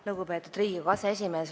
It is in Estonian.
Lugupeetud Riigikogu aseesimees!